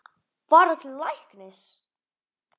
Fara til læknis?